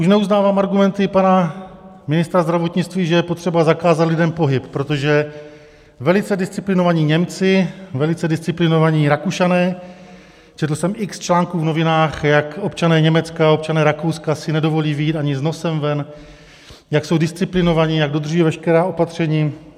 Už neuznávám argumenty pana ministra zdravotnictví, že je potřeba zakázat lidem pohyb, protože velice disciplinovaní Němci, velice disciplinovaní Rakušané, četl jsem x článků v novinách, jak občané Německa, občané Rakouska si nedovolí vyjít ani s nosem ven, jak jsou disciplinovaní, jak dodržují veškerá opatření.